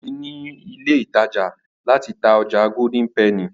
Debo tí ní ilé ìtàjà láti tá ọjà Golden penny.